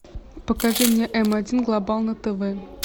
покажи мне м один глобал на тв